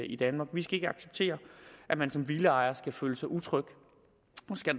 i danmark vi skal ikke acceptere at man som villaejer skal føle sig utryg